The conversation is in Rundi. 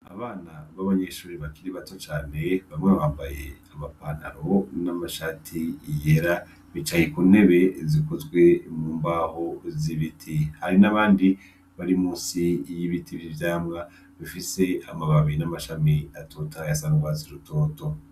Abana b'abanyeshure bakiri bato cane, bamwe bambaye abapantaro n'amashati yera, bicaye ku ntebe zikozwe mu mbaho z'ibiti, hari n'abandi bari musi y'ibiti vy'ivyamwa bifise amababi n'amashami atotahaye asa n'urwatsi rutoto.